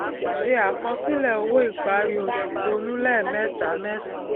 se àkọsílẹ owó ìparí oṣù ronú lẹẹmẹta mẹsan